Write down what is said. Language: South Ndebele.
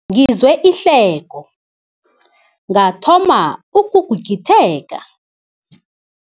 Ngizwe ihleko ngathoma ukugigitheka.